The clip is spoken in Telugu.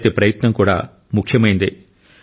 ప్రతి ప్రయత్నం కూడా ముఖ్యమైందే